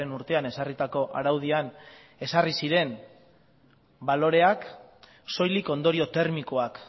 urtean ezarritako araudian ezarri ziren baloreak soilik ondorio termikoak